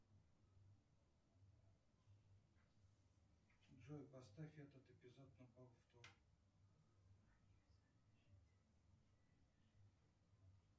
джой поставь этот эпизод на повтор